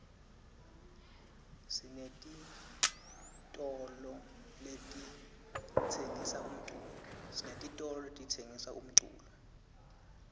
sinetitolole letitsengisa umculo